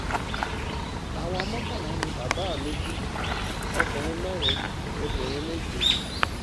àwa mọ́kànlá ni bàbá mi bí ọkùnrin mẹ́rin obìnrin méje